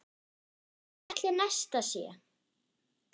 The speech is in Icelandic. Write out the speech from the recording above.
Hvar ætli Nesta sé?